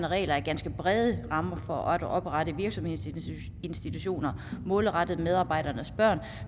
regler er ganske brede rammer for at oprette virksomhedsinstitutioner målrettet medarbejdernes børn